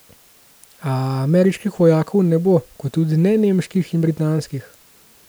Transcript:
A ameriških vojakov ne bo, kot tudi ne nemških in britanskih.